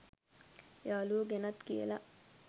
යාළුවො ගැනත් කියලා